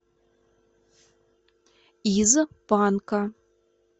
из панка